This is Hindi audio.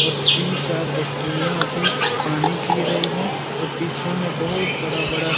और तीन-चार बकरियां अभी पानी पी रही है और पीछे में बहुत बड़ा-बड़ा --